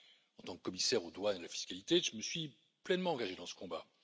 En tant que commissaire aux douanes et à la fiscalité, je me suis pleinement engagé dans ce combat.